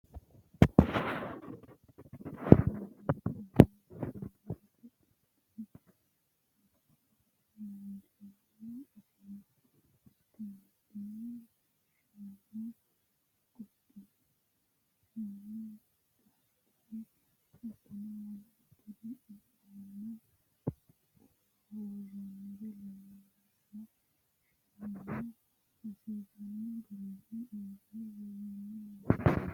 kuni misilete aana leellannohu babbaxino dani laalchooti isino: tumaattume, shaanu, qunqumadu shaani, barbare, hattono wolooturi iimanna uulla worroonniri leellanno. shaanano hasiisanno garinni usurre woroonni yaate.